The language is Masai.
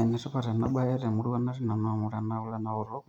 Enetipat ena baye temurrua, natii nanu amu ore kule naaotok